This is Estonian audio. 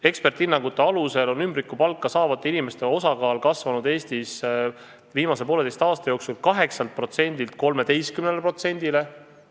Eksperdihinnangute kohaselt on ümbrikupalka saavate inimeste osakaal Eestis viimase poolteise aasta jooksul kasvanud 8%-lt 13%-le.